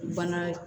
Bana